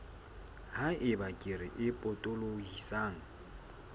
ha eba kere e potolohisang